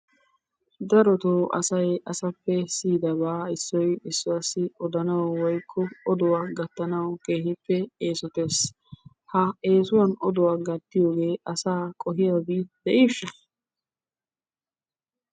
Darottoo asay asappe siyddabaa issoy issuwaassi odanawu woykko oduwa gattanawu keehippe eesottees. Ha eesuwan oduwa gattiyogee asaa qohiyobi de'isha?